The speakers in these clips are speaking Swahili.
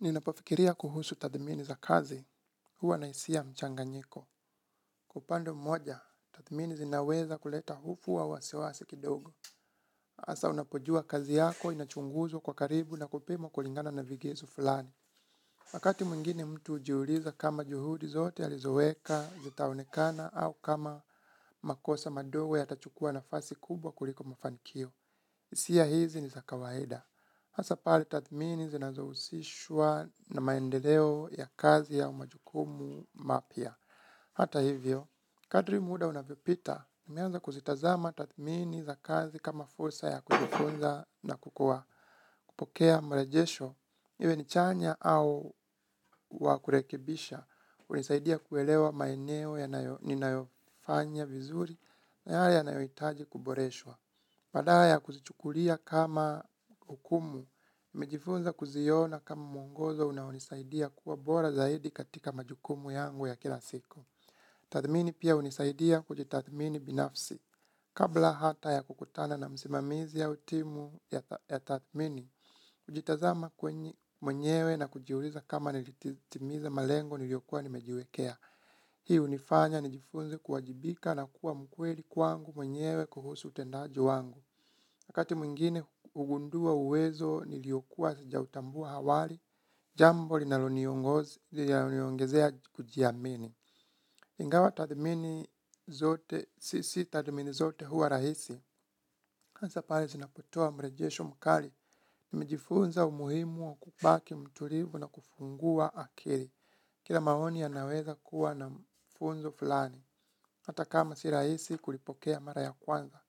Ninapofikiria kuhusu tathmini za kazi, huwa na isia ya mchanganyiko. Kwa upande mmoja, tathmini zinaweza kuleta hofu au wasiwasi kidogo. Asa unapojua kazi yako, inachunguzwa kwa karibu na kupimwa kulingana na vigezo fulani. Wakati mwingine mtu ujiuliza kama juhudi zote alizoweka, zitaonekana, au kama makosa madogo yatachukua nafasi kubwa kuliko mafanikio. Isia hizi ni za kawaida. Hasa pale tathmini zinazousishwa na maendeleo ya kazi au majukumu mapya. Hata hivyo, kadri muda unavyopita. Nimeanza kuzitazama tathmini za kazi kama fursa ya kujifunza na kukua. Kupokea mrejesho, iwe ni chanya au wa kurekebisha. Unisaidia kuelewa maeneo yanayo ninayofanya vizuri na yale yanayoitaji kuboreshwa. Badala ya kuzichukulia kama hukumu, nimejifunza kuziona kama muongozo unaonisaidia kuwa bora zaidi katika majukumu yangu ya kila siku. Tathmini pia hunisaidia kujitathmini binafsi. Kabla hata ya kukutana na msimamizi au timu ya tathmini, hujitazama mwenyewe na kujiuliza kama nilitimiza malengo niliyokua nimejiwekea. Hii unifanya nijifunze kuwajibika na kuwa mkweli kwangu mwenyewe kuhusu utendaji wangu. Wakati mwingine ugundua uwezo niliokuwa sijautambua hawali, jambo linaloniongozi linaniongezea kujiamini. Ingawa tathmini zote, si si tathmini zote huwa rahisi. Asa pale zinapotoa mrejesho mkali nimejifunza umuhimu wa kubaki mtulivu na kufungua akili. Kila maoni yanaweza kuwa na mfunzo fulani. Hata kama si rahisi kulipokea mara ya kwanza.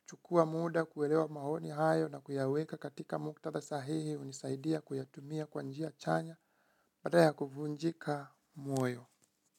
Kuchukua muda, kuelewa maoni hayo na kuyaweka katika muktadha sahihi, hunisaidia kuyatumia kwa njia chanya, badala ya kuvunjika moyo.